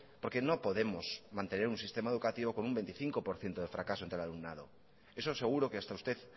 porque no podemos mantener un sistema educativo con un veinticinco por ciento de fracaso entre el alumnado eso seguro que hasta usted